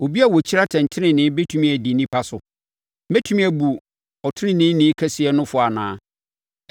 Obi a ɔkyiri atɛntenenee bɛtumi adi nnipa so? Mobɛtumi abu Ɔteneneeni kɛseɛ no fɔ anaa?